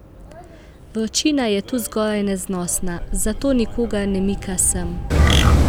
Vročina je tu zgoraj neznosna, zato nikogar ne mika sem.